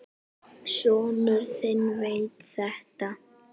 Sonur þinn veit þetta.